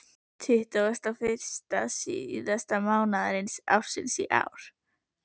Tuttugasta og fyrsta síðasta mánaðar ársins í ár.